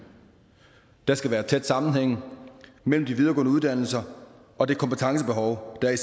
der skal være tæt sammenhæng mellem de videregående uddannelser og det kompetencebehov der er